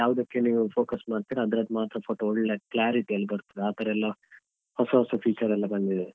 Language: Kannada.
ಯಾವದಕ್ಕೆ ನೀವು focus ಮಾಡ್ತೀರಾ ಅದ್ರದ್ದು ಮಾತ್ರ photo ಒಳ್ಳೆ clarity ಯಲ್ಲಿ ಬರ್ತದೆ ಆತರ ಎಲ್ಲ ಹೊಸ ಹೊಸ feature ಎಲ್ಲಾ ಬಂದಿದೆ.